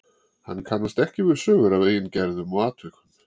Hann kannast ekki við sögur af eigin gerðum og atvikum.